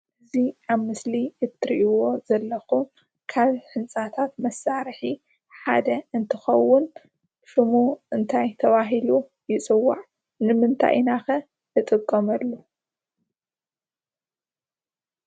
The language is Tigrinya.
እዚ ኣብ ምስሊ እትርእይዎ ዘለኩም ካብ ህንፃታት መሰርሕ ሓደ እንትከውን ሽሙ እንታይ ተበሂሉ ይፅዋዕ? ንምንታይ ኢና ከ ንጥቀመሉ?